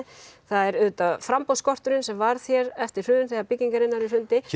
það er framboðsskorturinn sem varð hér eftir hrun þegar byggingariðnaðurinn hrundi